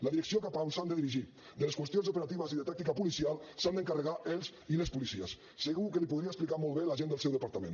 la direcció cap on s’han de dirigir de les qüestions operatives i de tàctica policial s’han d’encarregar els i les policies segur que li ho podria explicar molt bé la gent del seu departament